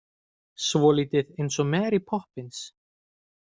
Svolítið eins og Mary Poppins.